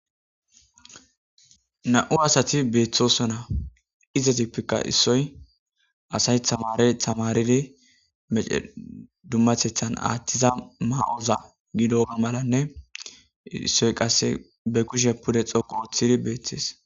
2 asati betosona izzetuppeka issoy asay tamare tamaridi dumatetha athiza maya ggiddoga malanne issoy qase be kushe pude dhoqu othidi betese